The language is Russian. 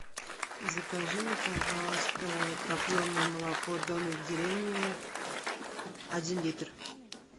закажи мне пожалуйста топленое молоко домик в деревне один литр